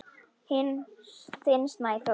Þinn Sæþór.